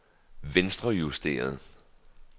venstrejusteret